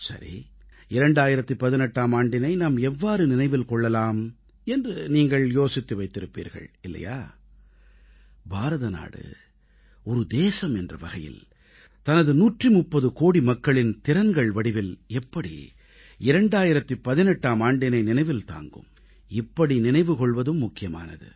சரி 2018ஆம் ஆண்டினை நாம் எவ்வாறு நினைவில் கொள்ளலாம் என்று நீங்கள் யோசித்து வைத்திருப்பீர்கள் இல்லையா பாரத நாடு ஒரு தேசம் என்ற வகையில் தனது 130 கோடி மக்களின் திறன்கள் வடிவில் எப்படி 2018ஆம் ஆண்டினை நினைவில் தாங்கும் இப்படி நினைவு கொள்வதும் முக்கியமானது